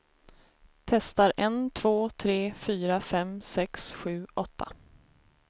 Testar en två tre fyra fem sex sju åtta.